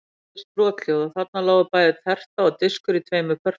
Það heyrðist brothljóð og þarna lágu bæði terta og diskur í tveimur pörtum.